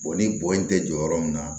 ni bɔn in tɛ jɔ yɔrɔ min na